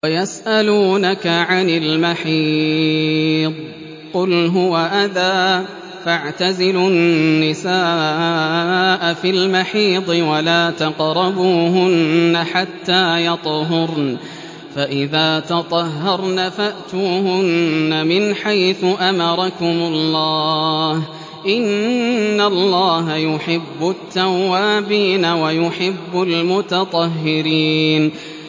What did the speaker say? وَيَسْأَلُونَكَ عَنِ الْمَحِيضِ ۖ قُلْ هُوَ أَذًى فَاعْتَزِلُوا النِّسَاءَ فِي الْمَحِيضِ ۖ وَلَا تَقْرَبُوهُنَّ حَتَّىٰ يَطْهُرْنَ ۖ فَإِذَا تَطَهَّرْنَ فَأْتُوهُنَّ مِنْ حَيْثُ أَمَرَكُمُ اللَّهُ ۚ إِنَّ اللَّهَ يُحِبُّ التَّوَّابِينَ وَيُحِبُّ الْمُتَطَهِّرِينَ